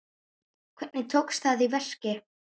Hvernig tókst það í verki?